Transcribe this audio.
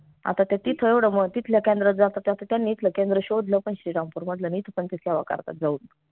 आता त्या तिथं येवढं म तिथल्या केंद्रात जातात त आता त्यांनी इथलं केंद्र शोधलं पन